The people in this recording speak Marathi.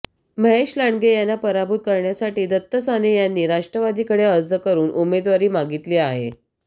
महेश लांडगे यांना पराभूत करण्यासाठी दत्त साने यांनी राष्ट्रवादीकडे अर्ज करून उमेदवारी मागितली आहे